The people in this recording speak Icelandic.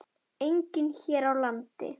Einnig hér á landi.